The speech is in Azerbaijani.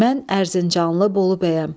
Mən Ərzincanlı Bolu bəyəm.